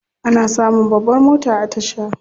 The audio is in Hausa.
Ana samun babbar mota a tasha.